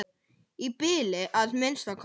Í bili að minnsta kosti.